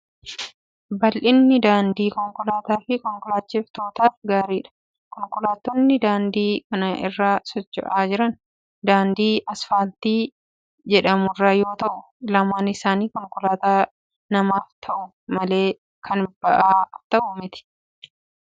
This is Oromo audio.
Babal'inni daandii konkolaataa fi konkolaachiftootaaf gaariidha. Konkolaattonni daandii kana irra socho'aa jiran, daandii asfaaltii jedhamu irra yoo ta'u, lamaan isaanii konkolaataa namaaf ta'u malee kan ba'aaf ta'u miti. Isaanis magaalaa keessa socho'aa kan jiranidha.